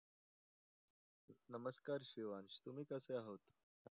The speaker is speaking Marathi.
नमस्कार शिवांश. तुम्ही कसे आहोत?